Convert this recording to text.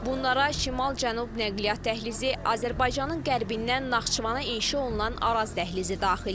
Bunlara şimal-cənub nəqliyyat dəhlizi, Azərbaycanın qərbindən Naxçıvana inşa olunan Araz dəhlizi daxildir.